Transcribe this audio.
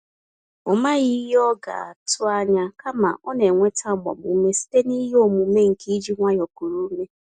Ọ maghị ihe ọ ga-atụ anya, kama, ọ nenweta agbam ume site n'ihe omume nke iji nwayọọ kuru ume